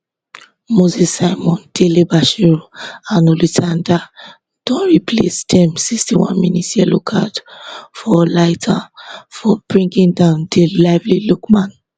moses simon dele bashiru and olisah ndah don replace dem sixty one mins yellow card for olaitan for bringing down di lively lookman